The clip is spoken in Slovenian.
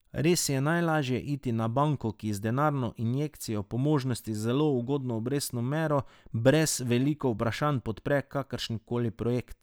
Res je najlaže iti na banko, ki z denarno injekcijo, po možnosti z zelo ugodno obrestno mero, brez veliko vprašanj podpre kakršenkoli projekt.